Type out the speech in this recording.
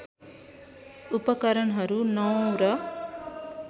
उपकरणहरू नवौँ र